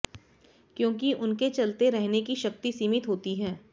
क्योंकि उनके चलते रहने की शक्ति सीमित होती है